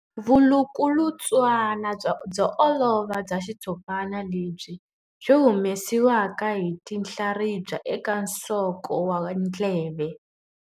Vulukulutswana byo olova bya xitshopana lebyi byi humesiwaka hi tinhlaribya eka nsoko wa ndleve.